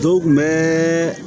Dɔw kun bɛɛ